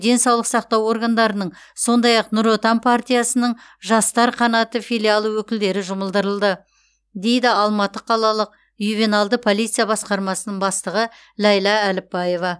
денсаулық сақтау органдарының сондай ақ нұр отан партиясының жастар қанаты филиалы өкілдері жұмылдырылды дейді алматы қалалық ювеналды полиция басқармасының бастығы ләйлә әліпбаева